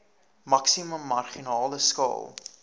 maksimum marginale skaal